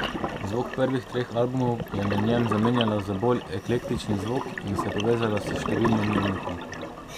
Zvok prvih treh albumov je na njem zamenjala za bolj eklektični zvok in se povezala s številnimi umetniki.